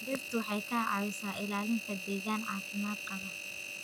Dhirtu waxay ka caawisaa ilaalinta deegaan caafimaad qaba.